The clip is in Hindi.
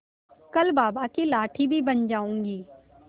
कल बाबा की लाठी भी बन जाऊंगी